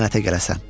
Lənətə gələsən!